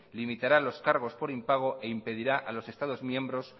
limitara los cargos por impago e impedirá a los estados miembros